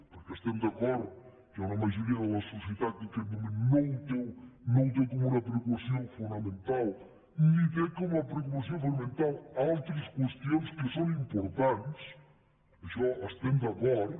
perquè estem d’acord que hi ha una majoria de la societat que en aquest moment no ho té com una preocupació fonamental ni té com a preocupació fonamental altres preocupacions que són importants amb això estem d’acord